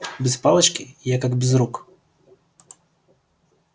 без палочки я как без рук